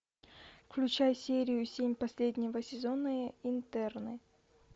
включай серию семь последнего сезона интерны